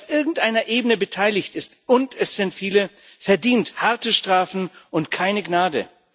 Wer auf irgendeiner Ebene beteiligt ist und es sind viele verdient harte Strafen und keine Gnade.